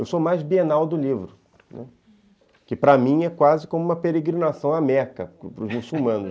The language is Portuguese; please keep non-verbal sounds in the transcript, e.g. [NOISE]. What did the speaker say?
Eu sou mais Bienal do Livro, né, que para mim é quase como uma peregrinação à Meca, [LAUGHS] para os muçulmanos.